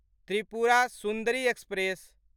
Tripura Sundari express